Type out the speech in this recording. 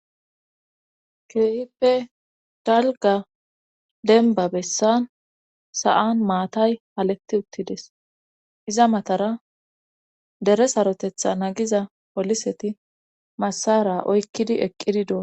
Keehippe dalga denba bessan sa7an maatay haletti uttides iza matara dere sarotetha nagiza poliseti massara oykkidi eqqidi dua.